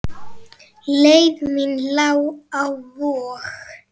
Leið mín lá á Vog.